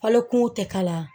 Falo kungow tɛ kalaya